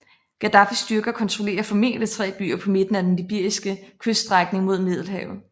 Gaddafis styrker kontrollerer formodentlig tre byer på midten af den libyske kyststrækning mod Middelhavet